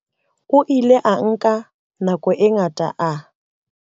O ile a nka nako e ngata a.